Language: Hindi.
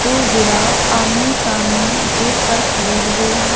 कुछ जिराफ आमने सामने गेट पर खड़े हुए हैं।